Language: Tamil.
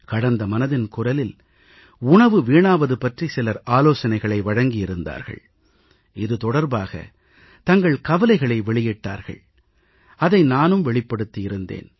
கடந்த மனதின் குரலில் உணவு வீணாவது பற்றி சிலர் ஆலோசனைகளை வழங்கியிருந்தார்கள் இது தொடர்பாக தங்கள் கவலைகளை வெளியிட்டார்கள் அதை நானும் வெளிப்படுத்தியிருந்தேன்